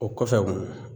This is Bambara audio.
O kɔfɛ